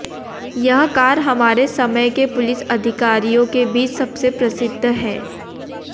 यह कार हमारे समय के पुलिस अधिकारियों के बीच सबसे प्रसिद्ध है